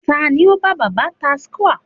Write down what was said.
ta ni o ba baba tacewa